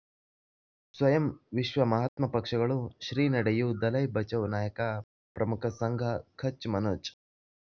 ಸ್ವಯಂ ವಿಶ್ವ ಮಹಾತ್ಮ ಪಕ್ಷಗಳು ಶ್ರೀ ನಡೆಯೂ ದಲೈ ಬಚೌ ನಾಯಕ ಪ್ರಮುಖ ಸಂಘ ಕಚ್ ಮನೋಜ್